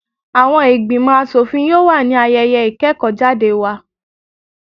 Àwọn ìgbìmò aṣòfin yóò wà ní ayẹyẹ ìkẹ́kọ́ jáde wa.